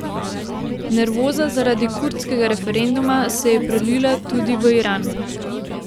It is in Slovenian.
Nervoza zaradi kurdskega referenduma se je prelila tudi v Iran.